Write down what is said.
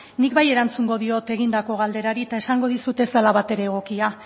nik bai erantzungo diot egindako galderari eta esango dizut ez dela batere egokia